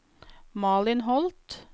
Malin Holth